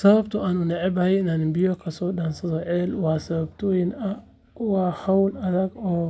Sababta aan u necbahay in aan biyo ka soo dhaansado ceel waa sababtoo ah waa hawl adag oo